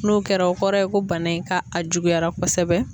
N'o kɛra o kɔrɔ ye ko bana in ka a juguyara kosɛbɛ.